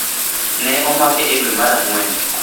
Ne omake e dwe mar Ang’wen